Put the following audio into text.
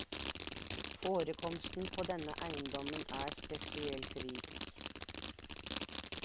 Forekomsten på denne eiendommen er spesielt rik.